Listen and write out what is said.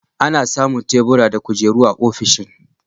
Ana samun tebura da kujeru a ofishin.